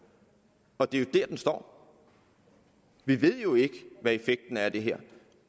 og det er der den står vi ved jo ikke hvad effekten er af det her